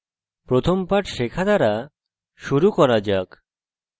প্রথম পাঠ শেখা দ্বারা শুরু করা যাক